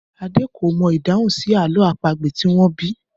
Adé kò mọ ìdáhùn sí àlọ́ àpagbè tí wọ́n bi í.